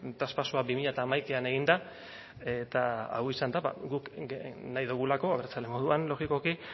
traspasoa bi mila hamaikaan egin da eta hau izan da guk nahi dugulako abertzale moduan logikoki